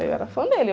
Eu era fã dele.